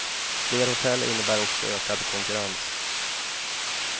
Fler hotell innebär också ökad konkurrens.